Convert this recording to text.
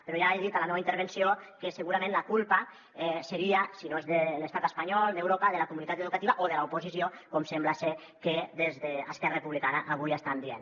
però ja he dit a la meua intervenció que segurament la culpa seria si no és de l’estat espanyol d’europa de la comunitat educativa o de l’oposició com sembla ser que des d’esquerra republicana avui estan dient